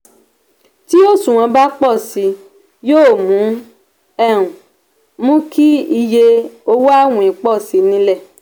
tí òṣùwọ̀n bá pọ si yóò um mú kí iye owó àwìn pọ si ní ilẹ.